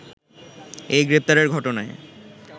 এই গ্রেপ্তারের ঘটনায়